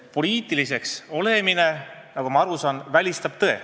Poliitiliseks olemine, nagu ma aru saan, välistab tõe.